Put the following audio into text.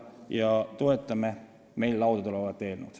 Me toetame meie laudadel olevat eelnõu.